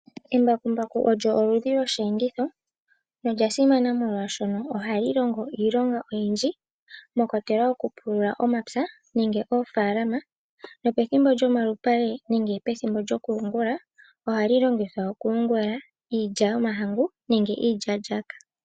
Embakumbaku olyo oludhi lwosheenditho nolya simana molwashoka ohali longo iilonga oyindji mwa kwatelwa okupulula omapya nenge oofalama nopethimbo lyomalupale nenge pethimbo lyokuyungula ohali longithwa okuyungula iilya yomahangu nenge iilyalyaka.